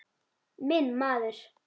Minn maður.